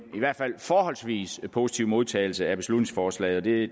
forholdsvis positiv modtagelse af beslutningsforslaget det